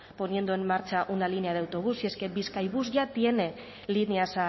poniendo en marcha una línea de autobús si es que bizkaibus ya tiene líneas